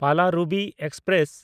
Palaruvi express